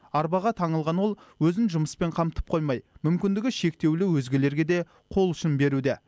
арбаға таңылған ол өзін жұмыспен қамтып қоймай мүмкіндігі шектеулі өзгелерге де қол ұшын беруде